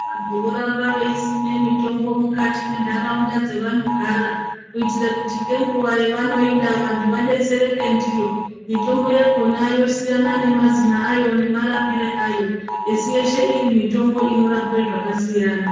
Vantu voramba veisima mitombo mukati mendaraunda dzevanogara kuitira kuti ngenguwa yavanoida kuti vantu vadetsereke ndiyo . Mitombo yakhona yosiyana nemazina ayo nemarapire ayo esi yeshe iri mitombo inorape zvakasiyana.